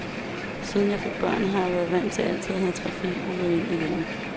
Siden jeg fik børn, har jeg været vant til altid at have trafik ud og ind af hjemmet.